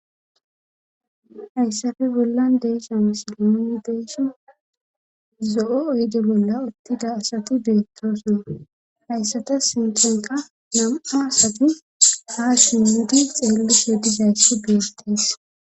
hayssafe bollan de'esha misili nunni deeshi zo7o oyde bolla uttida asatu betiroossona hayssata sintanqa nam7a asati ha shi di xeellis he dizayssi beegtees